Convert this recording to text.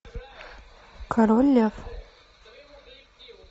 король лев